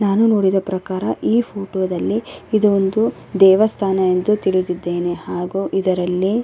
ನಾನು ನೋಡಿದ ಪ್ರಕಾರ ಈ ಫೋಟೋ ದಲಿ ಇದೊಂದು ದೇವಸ್ಥಾನ ಎಂದು ತಿಳಿದಿದ್ದೇನೆ ಹಾಗು ಇದರಲ್ಲಿ --